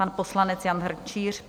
Pan poslanec Jan Hrnčíř.